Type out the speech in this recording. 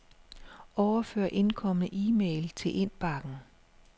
Overfør indkomne e-mail til indbakken.